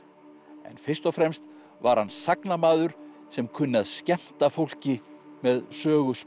en fyrst og fremst var hann sagnamaður sem kunni að skemmta fólki með